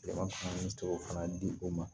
Yɛlɛma min to fana di o ma